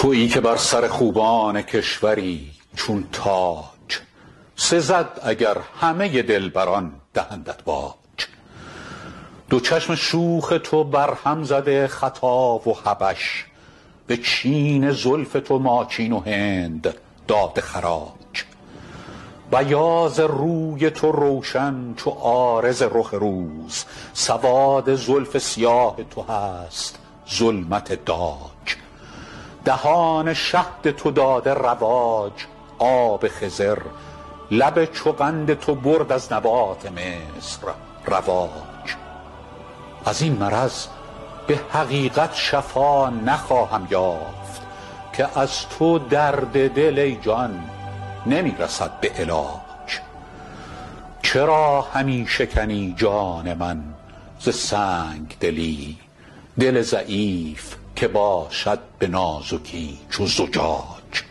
تویی که بر سر خوبان کشوری چون تاج سزد اگر همه دلبران دهندت باج دو چشم شوخ تو برهم زده خطا و حبش به چین زلف تو ماچین و هند داده خراج بیاض روی تو روشن چو عارض رخ روز سواد زلف سیاه تو هست ظلمت داج دهان شهد تو داده رواج آب خضر لب چو قند تو برد از نبات مصر رواج از این مرض به حقیقت شفا نخواهم یافت که از تو درد دل ای جان نمی رسد به علاج چرا همی شکنی جان من ز سنگ دلی دل ضعیف که باشد به نازکی چو زجاج